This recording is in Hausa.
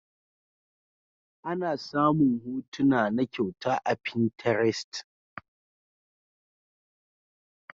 Ana samun hotuna na kyauta a pinterest.